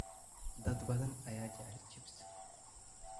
Dad badan ayaa jecel chips.